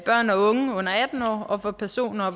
børn og unge under atten år og personer